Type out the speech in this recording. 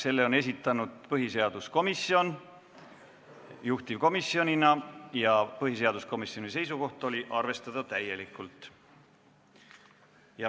Selle on esitanud põhiseaduskomisjon juhtivkomisjonina ja põhiseaduskomisjoni seisukoht oli täielikult arvestada.